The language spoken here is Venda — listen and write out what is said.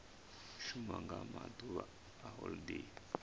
shuma nga maḓuvha a holodeni